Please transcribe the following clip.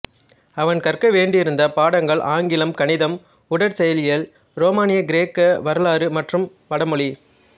அவன் கற்க வேண்டியிருந்த பாடங்கள் ஆங்கிலம் கணிதம் உடற்செயலியல் ரோமானிய கிரேக்க வரலாறு மற்றும் வடமொழி